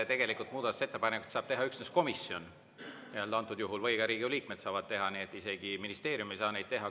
Tegelikult muudatusettepanekuid saab teha üksnes komisjon antud juhul või ka Riigikogu liikmed saavad teha, nii et isegi ministeerium ei saa neid teha.